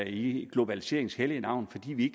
i globaliseringens hellige navn fordi vi